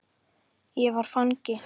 Ég var fangi.